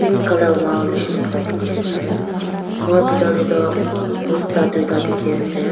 colour wall nishi na ekta dikey ase ghor bidor tey toh bosta tuida dike ase.